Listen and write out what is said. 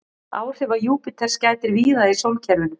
Áhrifa Júpíters gætir víða í sólkerfinu.